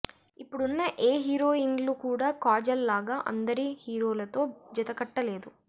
ఇప్పుడున్న ఏ హీరోయిన్లు కూడా కాజల్ లాగ అందరి హీరోలతో జతకట్టలేదు